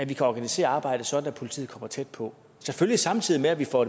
vi kan organisere arbejdet sådan at politiet kommer tæt på selvfølgelig samtidig med at vi får